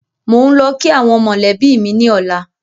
Mò ń lọ kii àwọn mọ́lẹ̀bi mi ni ọ̀la